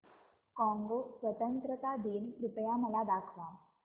Congo स्वतंत्रता दिन कृपया मला दाखवा